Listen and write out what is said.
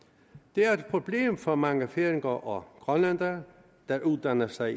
det er et problem for mange færinger og grønlændere der uddanner sig